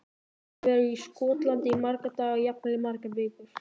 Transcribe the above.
Ég ætla að vera í Skotlandi í marga daga, jafnvel í margar vikur.